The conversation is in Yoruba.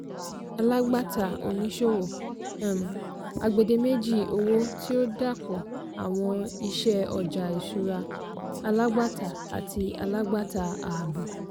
alágbàtà/oníṣòwò - um agbèdémèjì owó tí ó dàapọ̀ àwọn iṣẹ́ ọjà ìṣúra - alágbàtà àti alágbàtà àábò.